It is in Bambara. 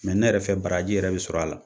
ne yɛrɛ fɛ baraji yɛrɛ bi sɔrɔ a la